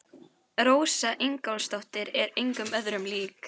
Rósa Ingólfsdóttir er engum öðrum lík.